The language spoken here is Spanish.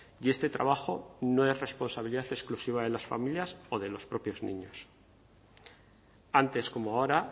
y este trabajo no es responsabilidad exclusiva de las familias o de los propios niños antes como ahora